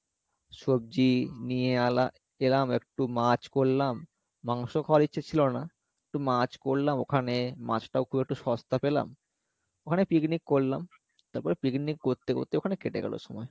সবজি নিয়ে এলা~ এলাম একটু মাছ করলাম মাংস খাওয়ার ইচ্ছা ছিলো না একটু মাছ করলাম ওখানে মাছটাও খুব একটু সস্তা পেলাম ওখানে picnic করলাম তারপরে picnic করতে করতে ওখানে কেটে গেলো সময়।